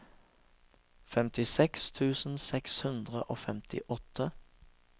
femtiseks tusen seks hundre og femtiåtte